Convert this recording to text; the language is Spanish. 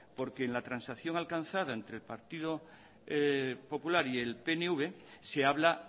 porque en la transacción alcanzada entre el partido popular y el pnv se habla